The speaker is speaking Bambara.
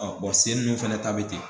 sen ninnu fana ta bɛ ten